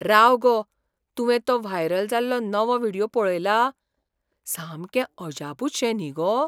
राव गो, तुवें तो व्हायरल जाल्लो नवो व्हिडियो पळयला? सामकें अजापूच शें न्ही गो.